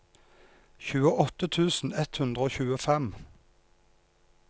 tjueåtte tusen ett hundre og tjuefem